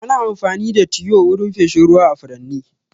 Ana amfani da tiyo wurin feshin ruwa a furanni.